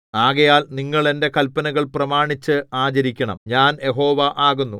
ആകയാൽ നിങ്ങൾ എന്റെ കല്പനകൾ പ്രമാണിച്ച് ആചരിക്കണം ഞാൻ യഹോവ ആകുന്നു